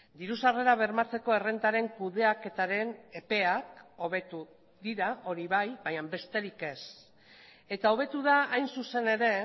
diru sarrerak bermatzeko errentaren kudeaketaren epeak hobetu dira hori bai baina besterik ez eta hobetu da hain zuzen ere